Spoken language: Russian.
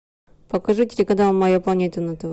покажи телеканал моя планета на тв